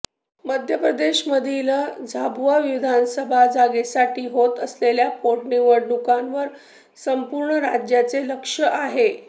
मध्य प्रदेशमधील झाबुआ विधानसभा जागेसाठी होत असलेल्या पोटनिवडणुकांवर संपूर्ण राज्याचे लक्ष आहे